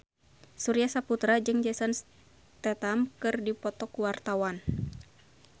Surya Saputra jeung Jason Statham keur dipoto ku wartawan